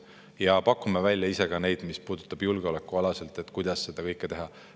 Ja pakume ka ise välja, kuidas julgeoleku mõttes seda kõike teha.